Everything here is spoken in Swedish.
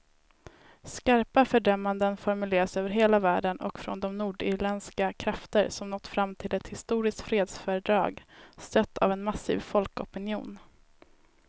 Skarpa fördömanden formuleras över hela världen och från de nordirländska krafter som nått fram till ett historiskt fredsfördrag, stött av en massiv folkopinion.